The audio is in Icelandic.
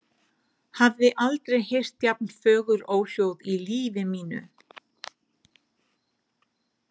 Hafði aldrei heyrt jafn fögur óhljóð í lífi mínu.